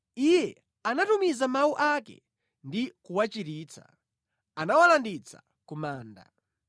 Iye anatumiza mawu ake ndi kuwachiritsa; anawalanditsa ku manda.